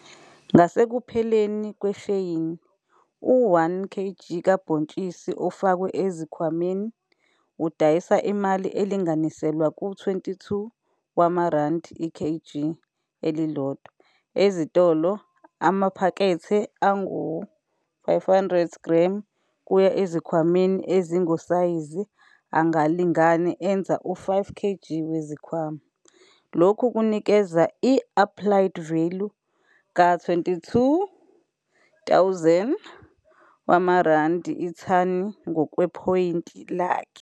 Ngasekupheleni kwesheyini u-1kg kabhontshisi ofakwe ezikhwameni udayisa imali elinganiselwa ku-R22,00 i-kg elilodwa ezitolo amaphakethe angu-500 g kuya ezikhwameni ezingosayizi angalingani enza u-5 kg wezikhwama. Lokhu kunikeza i-iplied value ka-R22 000 ithani ngokwephoyinti lakhe.